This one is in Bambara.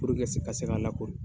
Puruke a ka se ka lakori.